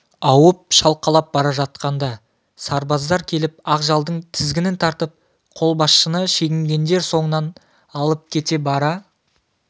ауып шалқалап бара жатқанда сарбаздар келіп ақжалдың тізгінін тартып қолбасшыны шегінгендер соңынан алып кетіп бара